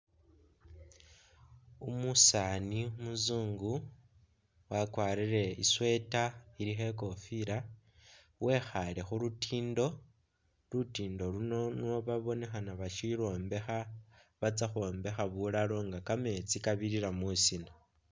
Umusaani umuzungu wakwarire i'sweater ilikho i'kofila wekhaale khu lutiindo, lutiindo luno nwo babonekhana bashilwombekha batsa khwombekha bulalo nga kameetsi kabirira musina.